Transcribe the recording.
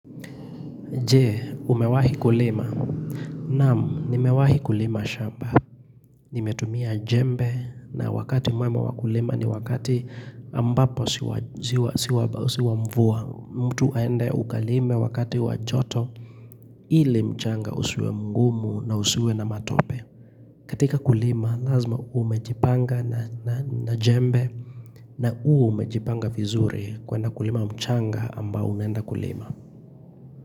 Je, umewahi kulima. Naam, nimewahi kulima shamba. Nimetumia jembe na wakati mwema wa kulima ni wakati ambapo siwa mvua. Mtu aende ukalime wakati wa joto ili mchanga usiwe mgumu na usiwe na matope. Katika kulima, lazima uwe umejipanga na jembe na uwe umejipanga vizuri kwenda kulima mchanga ambao unaenda kulima.